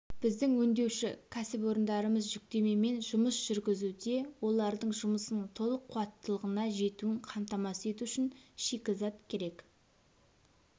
біздің өңдеуші кәсіпорындарымыз жүктемемен жұмыс жүргізуде олардың жұмысының толық қуаттылығына жетуін қамтамасыз ету үшін шикізат керек